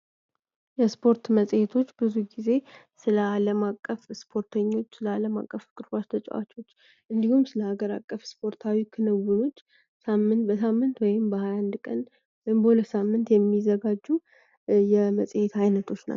የስፖርት መጽሔቶች ብዙ ጊዜ ስለ ዓለም አቀፍ ስፖርተኞች ለዓለም አቀፍ እግር ኳስ ተጫዋቾች እንዲሁም፤ ስለአገር አቀፍ ስፖርታዊ ክንውኖች በሳምንት ወይም በ21 ቀን ወይም በ 2 ሳምንት የሚዘጋጀው የመጽሔት አይነቶች ናቸው።